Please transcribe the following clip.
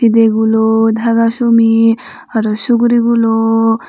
tide gulo daga sumi aro sugurigulo.